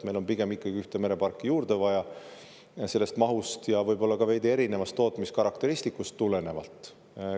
Meil on pigem ikkagi ühte mereparki juurde vaja, mahust ja võib-olla ka tulenevalt veidi tootmiskarakteristikust.